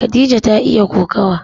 Khadija ta iya kokawa.